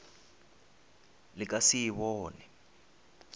le ka se e bone